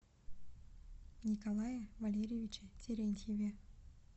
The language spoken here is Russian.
николае валерьевиче терентьеве